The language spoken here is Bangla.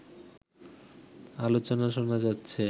আলোচনা শোনা যাচ্ছে